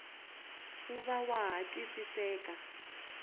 wu va wa ha twisiseka